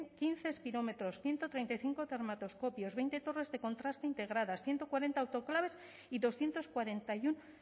quince espirómetros ciento treinta y cinco dermatoscopios veinte torres de contraste integradas ciento cuarenta autoclaves y doscientos cuarenta y uno